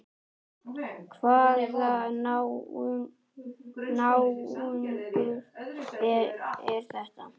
Hvaða náungi er þetta?